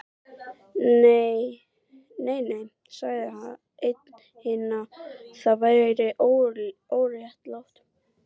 Nei, nei sagði einn hinna, það væri óréttlátt